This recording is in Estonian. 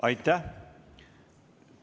Aitäh!